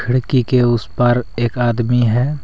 खिड़की के उस पर एक आदमी है।